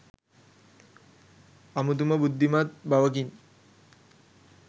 අමුතුම බුද්ධිමත් බවකින්